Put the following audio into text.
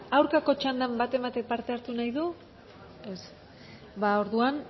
aurkako txandan baten batek parte hartu nahi du ez ba orduan